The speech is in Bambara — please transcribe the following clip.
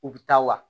U bi taa wa